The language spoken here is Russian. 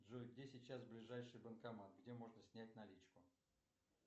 джой где сейчас ближайший банкомат где можно снять наличку